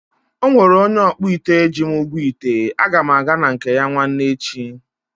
Ọnwere onye ọkpụite ji m ụgwọ ite, aga m aga na nke ya nwanne echi